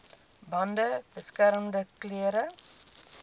bande beskermende klere